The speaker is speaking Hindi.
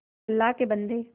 अल्लाह के बन्दे